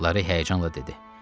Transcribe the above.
Lara həyəcanla dedi.